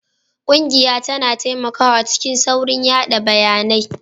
Ƙungiya tana taimakawa cikin saurin yada bayanai